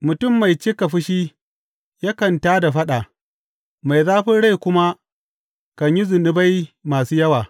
Mutum mai cika fushi yakan tā da faɗa, mai zafin rai kuma kan yi zunubai masu yawa.